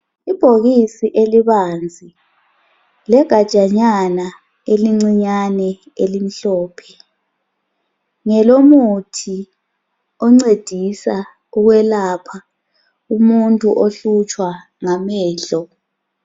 Ibhokisi elibanzi legajanyana elincinyane elimhlophe. Ngelomuthi oncedisa ukwelapha umuntu ohlutshwa ngamehlo.